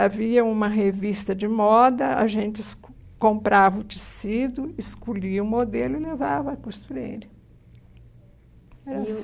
Havia uma revista de moda, a gente esco comprava o tecido, escolhia o modelo e levava à costureira. Era assim. E o